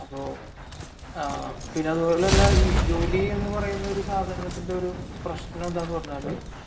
പിന്നെ ജോലി എന്ന് പറയുന്ന സാധനത്തിന്റെ ഒരു പ്രശ്‌നം എന്താണെന്നു പറഞ്ഞാൽ